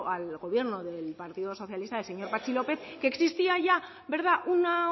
al gobierno del partido socialista del señor patxi lópez que existía ya una